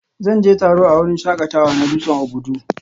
Zan je taro a wurin shakatawa na dutsen Obudu